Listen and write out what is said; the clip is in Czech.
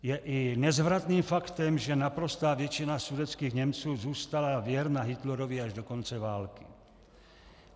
Je i nezvratným faktem, že naprostá většina sudetských Němců zůstala věrna Hitlerovi až do konce války.